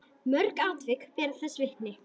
Mörg atvik bera þess vitni.